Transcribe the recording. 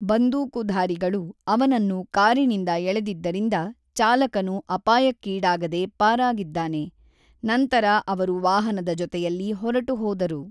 ಬಂದೂಕುಧಾರಿಗಳು ಅವನನ್ನು ಕಾರಿನಿಂದ ಎಳೆದಿದ್ದರಿಂದ ಚಾಲಕನು ಅಪಾಯಕ್ಕೀಡಾಗದೆ ಪಾರಾಗಿದ್ದಾನೆ, ನಂತರ ಅವರು ವಾಹನದ ಜೊತೆಯಲ್ಲಿ ಹೊರಟು ಹೋದರು.